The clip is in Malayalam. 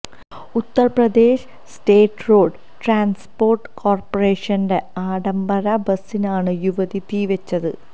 ഉത്തര് പ്രദേശ് സ്റ്റേറ്റ് റോഡ് ട്രാന്സ്പോര്ട്ട് കോര്പ്പറേഷന്റെ ആഡംബര ബസിനാണ് യുവതി തീവെച്ചത്